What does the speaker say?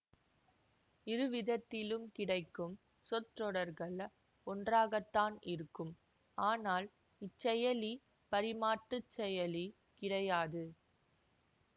இருவிதத்திலும் கிடைக்கும் சொற்றொடர்கள் ஒன்றாகத்தான் இருக்கும் ஆனால் இச்செயலி பரிமாற்றுச் செயலி கிடையாது